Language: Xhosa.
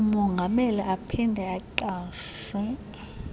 umongameli aphinde aqashe